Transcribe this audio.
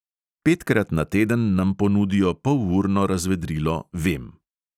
Petkrat na teden nam ponudijo polurno razvedrilo vem.